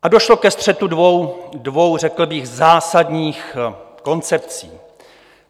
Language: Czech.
A došlo ke střetu dvou řekl bych zásadních koncepcí.